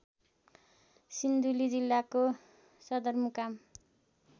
सिन्धुली जिल्लाको सदरमुकाम